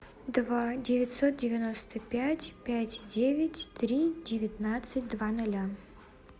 два девятьсот девяносто пять пять девять три девятнадцать два ноля